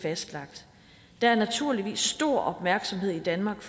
fastlagt der er naturligvis stor opmærksomhed i danmark